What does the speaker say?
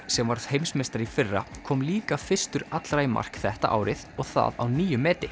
sem varð heimsmeistari í fyrra kom líka fyrstur allra í mark þetta árið og það á nýju meti